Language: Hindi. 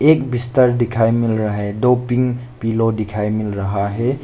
एक बिस्तर दिखाई मिल रहा है दो पिंक पिलो दिखाई मिल रहा है।